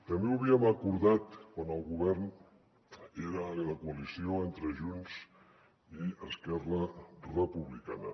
també ho havíem acordat quan el govern era de coalició entre junts i esquerra republicana